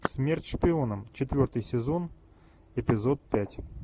смерть шпионам четвертый сезон эпизод пять